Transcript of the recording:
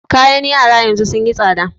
Kayan yara yanzu sun yi tsaɗa.